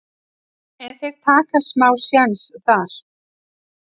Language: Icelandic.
en þeir taka smá séns þar.